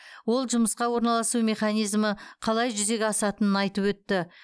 ол жұмысқа орналасу мезанизмі қалай жүзеге асатынын айтып өтті